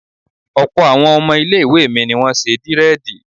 Ọ̀pọ̀ àwọn ọmọ ilé ìwé mi ni wọ́n ṣe dírẹ̀dì